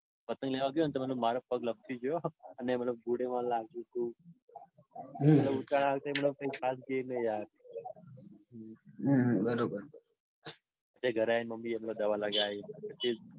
પતંગ લેવા ગયો ને તો માર પગ લપસી ગયો હો અને જોડે માર લાગી ગયું. હમ ઉત્તરાયણ મતલબ આ વખતે ખાસ કાંઈ ગઈ નઈ યાર. હમ બરોબર પછી ઘરે દવા લગાડી.